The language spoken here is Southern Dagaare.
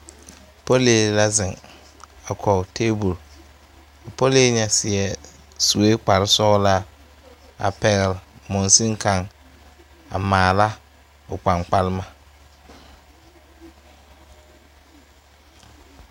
Pɔlee la zeŋ a kɔge tabol a pɔlii ŋa seɛɛ suee kparesɔglaa a pɛgle mɔnsene kaŋ a maala o kpaŋkpalema.